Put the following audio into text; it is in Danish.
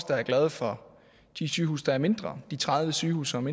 der er glade for de sygehuse der er mindre de tredive sygehuse som